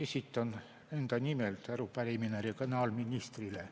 Esitan enda nimel arupärimise regionaalministrile.